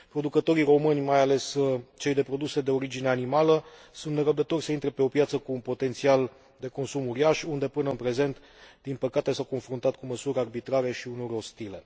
Producătorii români, mai ales cei de produse de origine animală, sunt nerăbdători să intre pe o piață cu un potențial de consum uriaș unde, până în prezent, din păcate, s au confruntat cu măsuri arbitrare și uneori ostile.